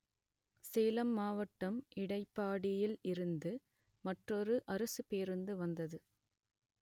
சேலம் மாவட்டம் இடைப்பாடியில் இருந்து மற்றொரு அரசுப் பேருந்து வந்தது